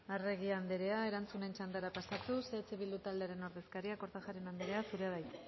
arregi andrea erantzunen txandara pasatuz eh bildu taldearen ordezkaria kortajarena andrea zurea da hitza